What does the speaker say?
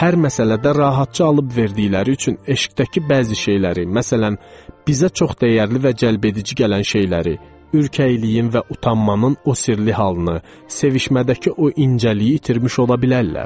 Hər məsələdə rahatca alıb verdikləri üçün eşqdəki bəzi şeyləri, məsələn, bizə çox dəyərli və cəlbedici gələn şeyləri, ürkəkliyin və utanmanın o sirli halını, sevişmədəki o incəliyi itirmiş ola bilərlər.